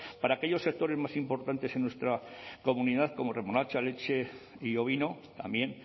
para aquellos sectores más importantes en nuestra comunidad como remolacha leche y ovino también